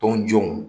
Tɔn jɔnw